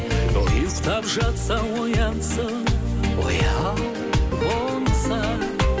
ұйықтап жатса оянсын ояу болса